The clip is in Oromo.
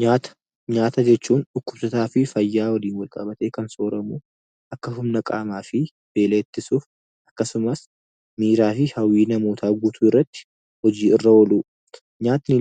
Nyaata. Nyaata jechuun dhukkubsataa fi fayyaa waliin wal qabatee kan sooratamuu dha. Akkasumas akka humna qaamaa fi beela ittisuun akkasumas miiraa fi hawwii namootaa guutuu irratti hojii irra oolu. Nyaanni